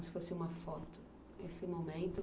Se fosse uma foto, esse momento